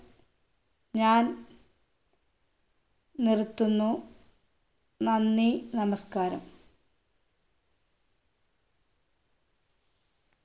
ഞാൻ നിർത്തുന്നു നന്ദി നമസ്ക്കാരം